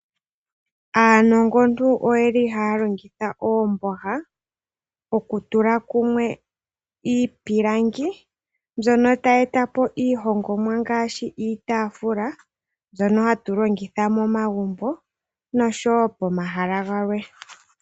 Aanongontu oye li haa longitha oomboha, oku tula kumwe iipilangi, mbyono tayi eta po iihongomwa, ngaashi iitaafula mbyono hatu longitha momagumbo, nosho wo pomahala galwe.